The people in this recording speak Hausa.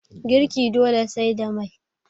girki dole sai da Mai